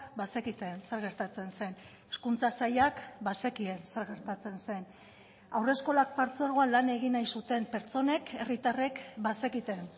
bazekiten zer gertatzen zen hezkuntza sailak bazekien zer gertatzen zen haurreskolak partzuergoan lan egin nahi zuten pertsonek herritarrek bazekiten